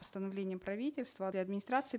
постановлением правительства администрации